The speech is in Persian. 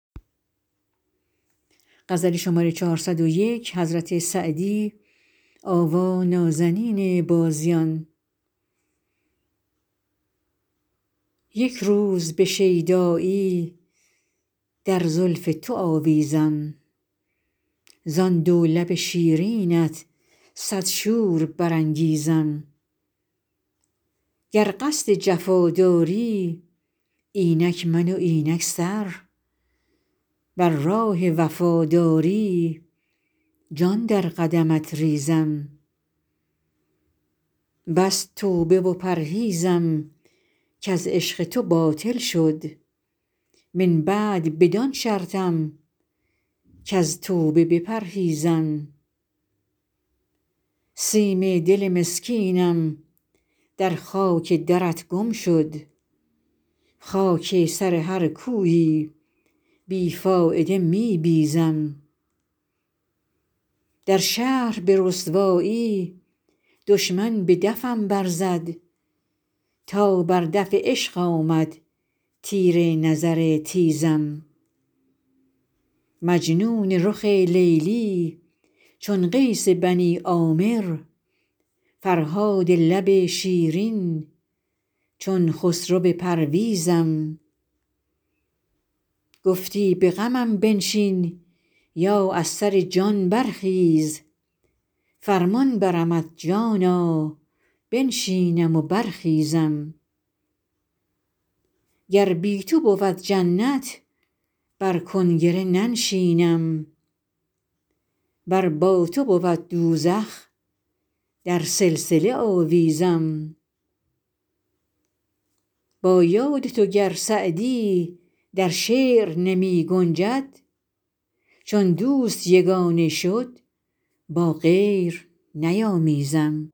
یک روز به شیدایی در زلف تو آویزم زان دو لب شیرینت صد شور برانگیزم گر قصد جفا داری اینک من و اینک سر ور راه وفا داری جان در قدمت ریزم بس توبه و پرهیزم کز عشق تو باطل شد من بعد بدان شرطم کز توبه بپرهیزم سیم دل مسکینم در خاک درت گم شد خاک سر هر کویی بی فایده می بیزم در شهر به رسوایی دشمن به دفم برزد تا بر دف عشق آمد تیر نظر تیزم مجنون رخ لیلی چون قیس بنی عامر فرهاد لب شیرین چون خسرو پرویزم گفتی به غمم بنشین یا از سر جان برخیز فرمان برمت جانا بنشینم و برخیزم گر بی تو بود جنت بر کنگره ننشینم ور با تو بود دوزخ در سلسله آویزم با یاد تو گر سعدی در شعر نمی گنجد چون دوست یگانه شد با غیر نیامیزم